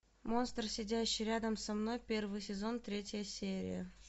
монстр сидящий рядом со мной первый сезон третья серия